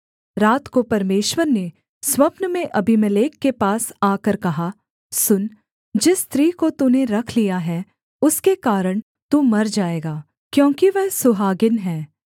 रात को परमेश्वर ने स्वप्न में अबीमेलेक के पास आकर कहा सुन जिस स्त्री को तूने रख लिया है उसके कारण तू मर जाएगा क्योंकि वह सुहागिन है